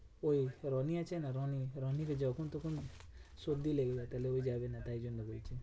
ওই রনি আছে না রনি রনির যখন তখন সর্দি লেগে যায়, তাহলে ও যাবেনা তাই জন্য বলছি।